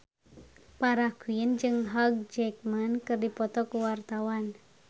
Farah Quinn jeung Hugh Jackman keur dipoto ku wartawan